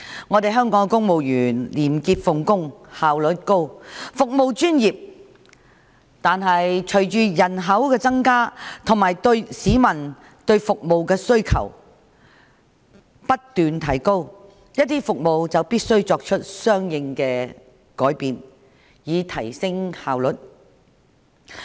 儘管香港公務員廉潔奉公、效率高、服務專業，但隨着人口增加及市民對服務的需求不斷提高，一些服務就必須作出相應的改變，以提升效率。